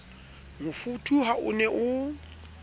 mofuthu ha o ne o